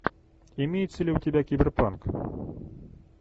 имеется ли у тебя киберпанк